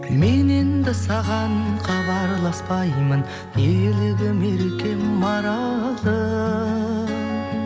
мен енді саған хабарласпаймын елігім еркем маралым